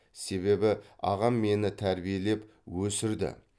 себебі ағам мені тәрбиелеп өсірді